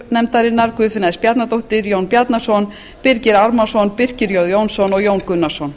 form guðfinna s bjarnadóttir jón bjarnason birgir ármannsson birkir j jónsson og jón gunnarsson